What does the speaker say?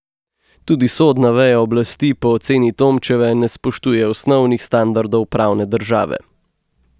Tudi sodna veja oblasti po oceni Tomčeve ne spoštuje osnovnih standardov pravne države.